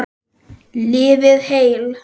Lifið heil!